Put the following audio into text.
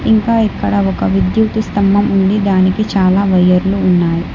ఇంకా ఇక్కడ ఒక విద్యుతు స్తంభం ఉంది దానికి చాలా వయర్లు ఉన్నాయ్.